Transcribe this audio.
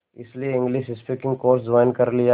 इसलिए English speaking course join कर लिया